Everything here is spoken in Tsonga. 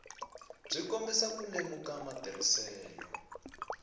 byi kombisa ku lemuka matirhiselo